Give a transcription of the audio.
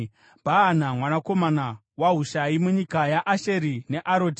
Bhaana mwanakomana waHushai, munyika yaAsheri neAroti;